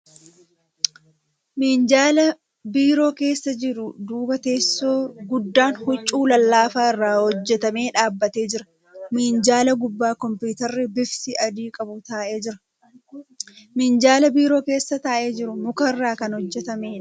Minjaala biiroo keessa jiru duuba teessoo guddaan huccuu lallaafaa irraa hojjatame dhaabbatee jira. Minjaala gubbaa kompuutarri bifti adii qabu taa'ee jira. Minjaalli biiroo keessa taa'ee jiru muka irraa kan hojjatameedha.